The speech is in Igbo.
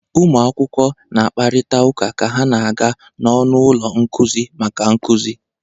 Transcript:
Ụmụ akwụkwọ na-akparịta ụka ka ha na-aga n'ọnụ ụlọ nkuzi maka nkuzi.